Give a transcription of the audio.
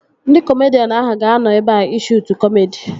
Ndị kọmedian ahụ ga-anọ ebea ị shuutu kọmedi